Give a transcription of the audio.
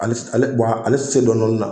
Ale ale ale tɛ se dɔɔni dɔɔni na